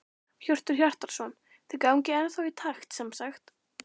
Hjörtur Hjartarson: Þið gangið ennþá í takt sem sagt?